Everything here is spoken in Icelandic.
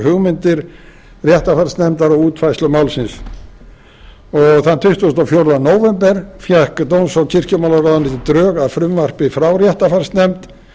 hugmyndir réttarfarsnefndar og útfærsla málsins og þann tuttugasta og fjórða nóvember fékk dóms og kirkjumálaráðuneytið drög að frumvarpi frá réttarfarsnefnd